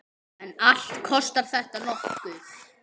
En allt kostar þetta nokkuð.